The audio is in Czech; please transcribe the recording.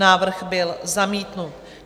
Návrh byl zamítnut.